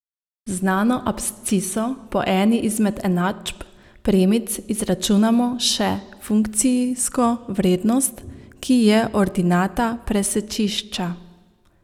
Z znano absciso po eni izmed enačb premic izračunamo še funkcijsko vrednost, ki je ordinata presečišča.